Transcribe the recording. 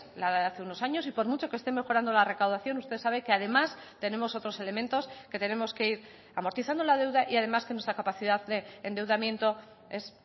la de hace unos años y por mucho que este mejorando la recaudación usted sabe que además tenemos otros elementos que tenemos que ir amortizando la deuda y además que nuestra capacidad de endeudamiento es